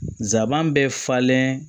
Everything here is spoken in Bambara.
Zaban bɛ falen